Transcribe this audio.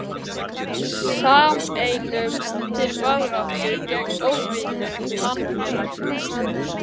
Sameinumst til baráttu gegn óvinum mannfélagsins.